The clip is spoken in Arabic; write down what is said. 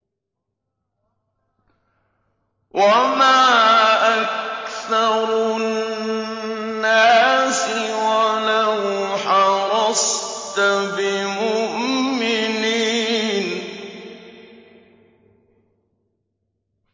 وَمَا أَكْثَرُ النَّاسِ وَلَوْ حَرَصْتَ بِمُؤْمِنِينَ